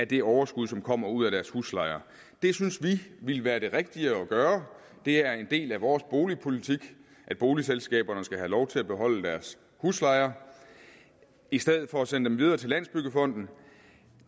det overskud som kommer ud af deres huslejer det synes vi ville være det rigtige at gøre det er en del af vores boligpolitik at boligselskaberne skal have lov til at beholde deres huslejer i stedet for at sende dem videre til landsbyggefonden